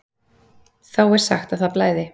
Þá er sagt að það blæði.